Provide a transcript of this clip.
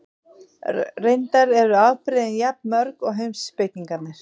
Reyndar eru afbrigðin jafn mörg og heimspekingarnir.